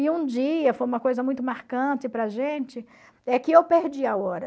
E um dia, foi uma coisa muito marcante para a gente, é que eu perdi a hora.